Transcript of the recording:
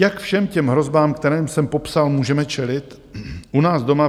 Jak všem těmto hrozbám, které jsem popsal, můžeme čelit u nás doma?